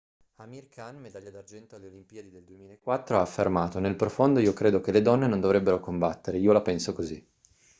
amir khan medaglia d'argento alle olimpiadi del 2004 ha affermato nel profondo io credo che le donne non dovrebbero combattere io la penso così